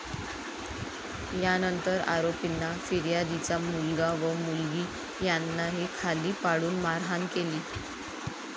यानंतर आरोपींनी फिर्यादीचा मुलगा व मुलगी यांनाही खाली पाडून मारहाण केली.